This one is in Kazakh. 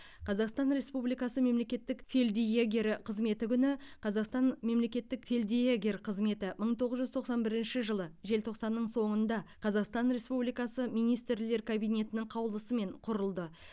қазақстан республикасы мемлекеттік фельдъегер қызметі күні қазақстан мемлекеттік фельдъегер қызметі мың тоғыз жүз тоқсан бірінші жылы желтоқсанның соңында қазақстан республикасы министрлер кабинетінің қаулысымен құрылды